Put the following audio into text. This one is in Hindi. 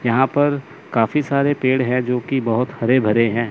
यहां पर काफी सारे पेड़ है जो की बहोत हरे भरे हैं।